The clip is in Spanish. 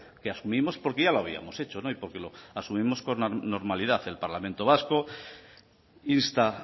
que asumimos porque ya lo habíamos hecho y porque lo asumimos con normalidad el parlamento vasco insta